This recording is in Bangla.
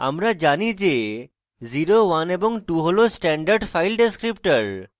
আমরা জানি যে 01 এবং 2 হল standard file descriptors